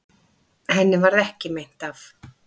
Henni varð ekki meint af.